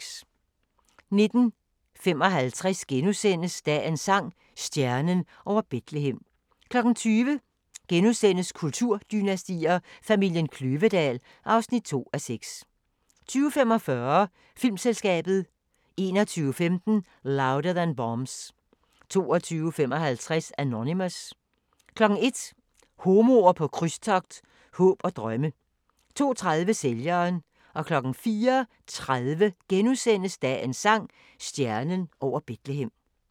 19:55: Dagens sang: Stjernen over Betlehem * 20:00: Kulturdynastier: Familien Kløvedal (2:4)* 20:45: Filmselskabet 21:15: Louder Than Bombs 22:55: Anonymous 01:00: Homoer på krydstogt – håb og drømme 02:30: Sælgeren 04:30: Dagens sang: Stjernen over Betlehem *